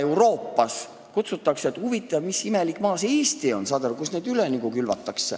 Euroopas mõeldakse, et huvitav, mis imelik maa see Eesti on, saad sa aru.